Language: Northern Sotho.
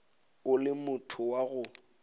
o le motho wa go